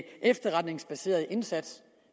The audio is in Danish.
efterretningsbaseret indsats